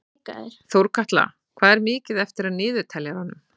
Þórkatla, hvað er mikið eftir af niðurteljaranum?